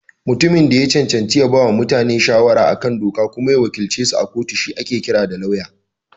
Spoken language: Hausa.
Mutumin da ya cancanta ya bawa mutane shawara a kan doka kuma ya wakilcesu a kotu shi ake kira Lauya.